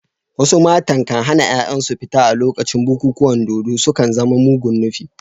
Wasu matan kan hana ‘ya’yansu fita a lokacin bukukuwan dodo, sun kan zama mugun nufi.